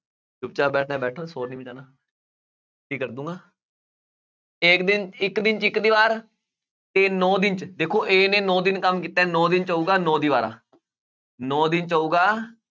ਚੁੱਪ ਚਾਪ ਬੈਠਣਾ ਹੈ ਬੈਠੋ ਸ਼ੋਰ ਨੀ ਮਚਾਉਣਾ ਏਕ ਦਿਨ, ਇੱਕ ਦਿਨ 'ਚ ਇੱਕ ਦੀਵਾਰ ਤੇ ਨੋਂ ਦਿਨ 'ਚ ਦੇਖੋ a ਨੇ ਨੋਂ ਦਿਨ ਕੰਮ ਕੀਤਾ ਹੈ ਨੋਂ ਦਿਨ 'ਚ ਹੋਊਗਾ ਨੋਂ ਦੀਵਾਰਾਂ ਨੋਂ ਦਿਨ 'ਚ ਹੋਊਗਾ